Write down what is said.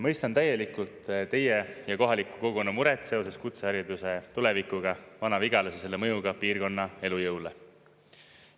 Mõistan täielikult teie ja kohaliku kogukonna muret seoses kutsehariduse tulevikuga Vana-Vigalas ja selle mõjuga piirkonna elujõule.